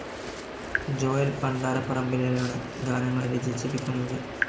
Joel പണ്ടാരപ്പറമ്പിലിലാണ് ഗാനങ്ങൾ രചിച്ചിരിക്കുന്നത്.